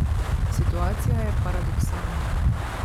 Situacija je paradoksalna.